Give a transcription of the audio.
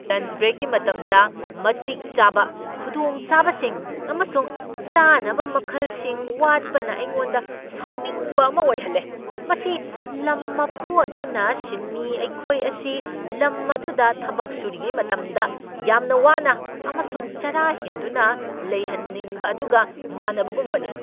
Lunch ꯕ꯭ꯔꯦꯛꯀꯤ ꯃꯇꯝꯗ ꯃꯇꯤꯛ ꯆꯥꯕ ꯈꯨꯗꯣꯡꯆꯥꯕꯁꯤꯡ ꯑꯃꯁꯨꯡ ꯆꯥꯅꯕ ꯃꯈꯜꯁꯤꯡ ꯋꯥꯠꯄꯅ ꯑꯩꯉꯣꯟꯗ ꯁꯥꯎꯅꯤꯡꯕ ꯑꯃ ꯑꯣꯏꯍꯜꯂꯦ ꯫ ꯃꯁꯤ ꯂꯝ ꯃꯄꯨ ꯑꯗꯨꯅ ꯁꯤꯟꯃꯤ ꯑꯩꯈꯣꯏ ꯑꯁꯤ ꯂꯝ ꯑꯗꯨꯗ ꯊꯕꯛ ꯁꯨꯔꯤꯉꯩ ꯃꯇꯝꯗ ꯌꯥꯝꯅ ꯋꯥꯅ ꯑꯃꯁꯨꯡ ꯆꯔꯥ ꯍꯦꯟꯗꯨꯅ ꯂꯩꯍꯟꯅꯤꯡꯕ ꯑꯗꯨꯒ ꯃꯥꯟꯅꯕꯒꯨꯝꯕꯅꯤ ꯫